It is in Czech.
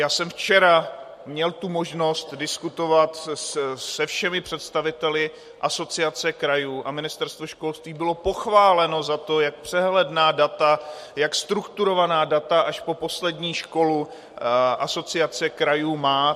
Já jsem včera měl tu možnost diskutovat se všemi představiteli Asociace krajů a Ministerstvo školství bylo pochváleno za to, jak přehledná data, jak strukturovaná data až po poslední školu Asociace krajů má.